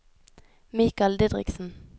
Mikal Didriksen